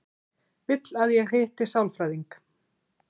Vill að ég hitti sálfræðing.